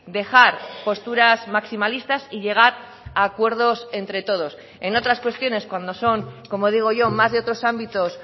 dejar posturas maximalistas y llegar a acuerdos entre todos en otras cuestiones cuando son como digo yo más de otros ámbitos